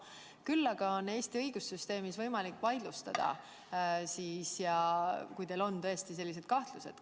Küll aga on Eesti õigussüsteemis võimalik tulemusi vaidlustada, kui teil on tõesti sellised kahtlused.